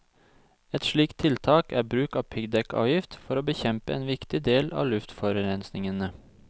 Ett slikt tiltak er bruk av piggdekkavgift for å bekjempe en viktig del av luftforurensningene.